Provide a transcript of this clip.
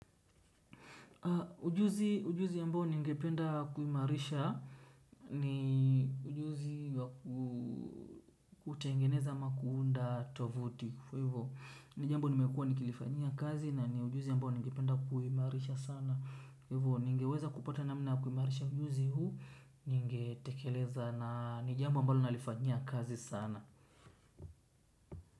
Ujuzi, ujuzi ambao ningependa kuimarisha ni ujuzi wa kutengeneza ama kuunda tuvuti, kwa hivyo ni jambo nimekuwa nikilifanyia kazi na ni ujuzi ambao ningependa kuimarisha sana kwa hivyo ningeweza kupata namna ya kuimarisha ujuzi huu ningetekeleza na ni jambo ambalo nalifanyia kazi sana.